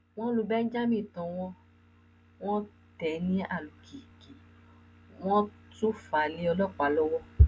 wọn lu benjamen tọwọ wọn tẹ ní àlùkí kí wọn tóó fà á lé ọlọpàá lọwọ